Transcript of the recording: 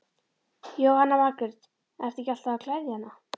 Jóhanna Margrét: Ertu ekki alltaf að gleðja hana?